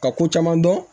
Ka ko caman dɔn